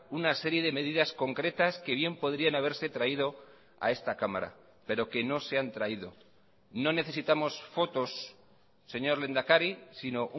una serie de medidas concretas que bien podrían haberse traído a esta cámara pero que no se han traído no necesitamos fotos señor lehendakari sino